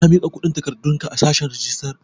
Ka miƙa kundin takardun ka a sashen rijistar?